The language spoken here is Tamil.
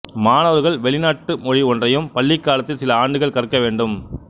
மாணவர்கள் வெளிநாட்டு மொழி ஒன்றையும் பள்ளிக்காலத்தில் சில ஆண்டுகள் கற்க வேண்டும்